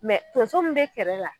Mɛ tonso min be kɛrɛ la